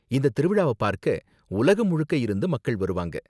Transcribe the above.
இந்தத் திருவிழாவ பார்க்க உலகம் முழுக்க இருந்து மக்கள் வருவாங்க.